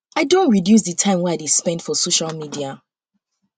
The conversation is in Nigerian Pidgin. i don reduce um di time wey i dey spend um for social um media